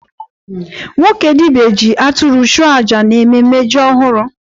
Nwoke dibia ji atụrụ chụọ aja n'ememe ji ọhụrụ.